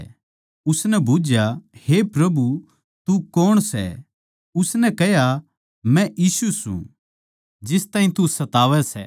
उसनै बुझ्झया हे प्रभु तू कौण सै उसनै कह्या मै यीशु सूं जिस ताहीं तू सतावै सै